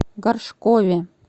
горшкове